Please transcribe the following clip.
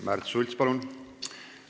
Märt Sults, palun!